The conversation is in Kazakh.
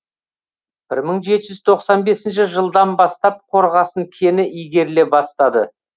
бір мың жеті жүз тоқсан бесінші жылдан бастап қорғасын кені игеріле бастады